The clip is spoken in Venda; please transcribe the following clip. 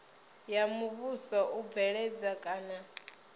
ya muvhuso u bveledza kana